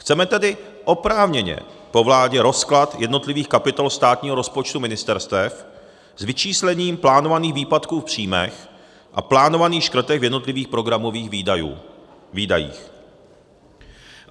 Chceme tedy oprávněně po vládě rozklad jednotlivých kapitol státního rozpočtu ministerstev s vyčíslením plánovaných výpadků v příjmech a plánovaných škrtech v jednotlivých programových výdajích.